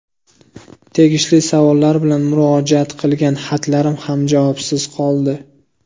Tegishli savollar bilan murojaat qilgan xatlarim ham javobsiz qoldi.